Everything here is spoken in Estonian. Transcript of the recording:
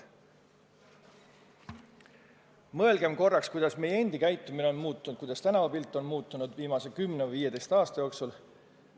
Mõelgem korraks, kuidas meie endi käitumine on muutunud, kuidas tänavapilt on viimase kümne või 15 aasta jooksul muutunud.